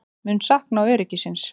Mun sakna öryggisins.